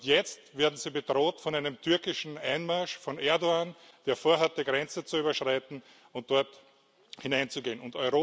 Und jetzt werden sie bedroht von einem türkischen Einmarsch, von Erdoğan, der vorhat, die Grenze zu überschreiten und dort hineinzugehen.